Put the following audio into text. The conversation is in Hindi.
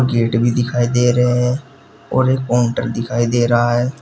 गेट भी दिखाई दे रहे हैं और एक काउंटर दिखाई दे रहा है।